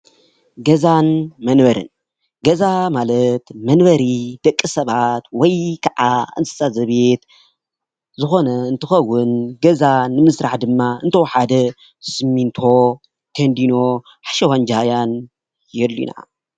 ገዛን መንበሪን ገዛ ማለት መንበሪ ደቂ ሰባት ወይ ከዓ እንስሳ ዘቤት ዝኮነ እንትኸውን፤ ገዛ ንምስራሕ ድማ እንተወሓደ ስሚንቶ ፣ ቴንዲኖ፣ ሓሸዋን ጃህያን የድልዩና፡፡